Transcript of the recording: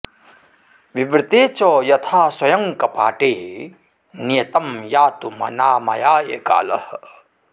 विवृते च यथा स्वयं कपाटे नियतं यातुमनामयाय कालः